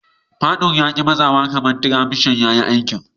Fadur ya ki matsawa kaman tiramishan ya ki aiki.